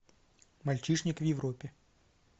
мальчишник в европе